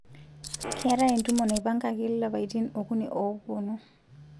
keetae entumo naipangangi lapaitin okuni oopuonu